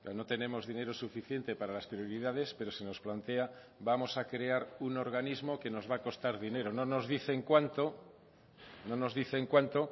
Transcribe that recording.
no tenemos dinero suficiente para las prioridades pero se nos plantea vamos a crear un organismo que nos va a costar dinero no nos dicen cuánto no nos dicen cuánto